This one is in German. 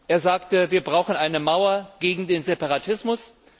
Er sagte Wir brauchen eine Mauer gegen den Separatismus.